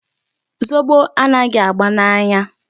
Zobo anaghị aba n'anya.